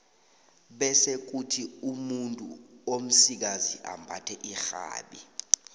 bese kuthi umuntu omsikazi ambathe irhabi